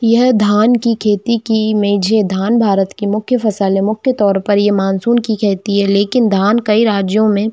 यह धान की खेती की इमेज है धान भारत का मुख्य फ़सल है मुख्य तौर पर मानसून की खेती है लेकिन धान कई राज्यों में--